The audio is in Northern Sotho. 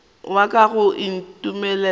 wa ka ga o ntumelele